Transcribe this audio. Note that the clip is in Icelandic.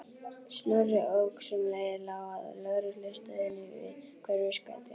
Snorri ók sem leið lá að lögreglustöðinni við Hverfisgötu.